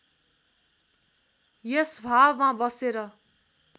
यस भावमा बसेर